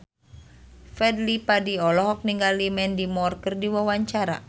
Fadly Padi olohok ningali Mandy Moore keur diwawancara